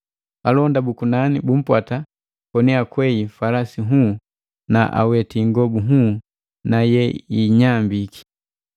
Alonda buku nani bumpwata koni akwei falasi nhuu na aweti ingobu nhuu na yeinyambiki.